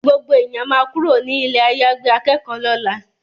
Gbogbo èèyàn ma kúrò ní ilé àyàgbé akẹ́kọ̀ọ́ lọ́la